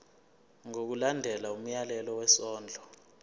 ngokulandela umyalelo wesondlo